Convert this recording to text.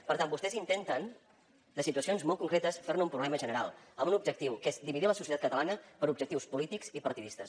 per tant vostès intenten de situacions molt concretes fer ne un problema general amb un objectiu que és dividir la societat catalana per objectius polítics i partidistes